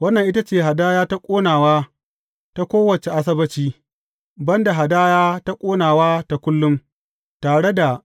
Wannan ita ce hadaya ta ƙonawa ta kowace Asabbaci, ban da hadaya ta ƙonawa ta kullum, tare da